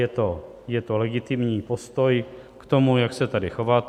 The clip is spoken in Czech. Je to legitimní postoj k tomu, jak se tady chovat.